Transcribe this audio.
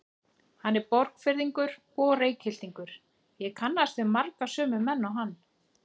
Hann er Borgfirðingur og Reykhyltingur, ég kannaðist við marga sömu menn og hann.